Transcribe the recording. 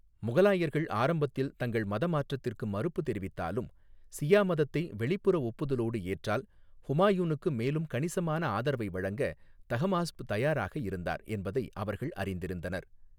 முகலாயர்கள் ஆரம்பத்தில் தங்கள் மதமாற்றத்திற்கு மறுப்பு தெரிவித்தாலும், சியா மதத்தை வெளிப்புற ஒப்புதலோடு ஏற்றால், ஹுமாயூனுக்கு மேலும் கணிசமான ஆதரவை வழங்க தஹமாஸ்ப் தயாராக இருந்தார் என்பதை அவர்கள் அறிந்திருந்தனர்.